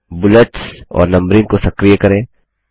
bullets और numbering को सक्रिय करें